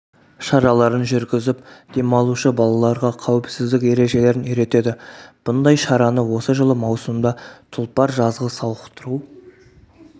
шараларын жүргізіп демалушы балаларға қауіпсіздік ережелерін үйретеді бұндай шараны осы жылы маусымда тұлпар жазғы сауықтыру